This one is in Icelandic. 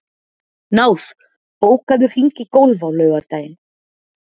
Náð, bókaðu hring í golf á laugardaginn.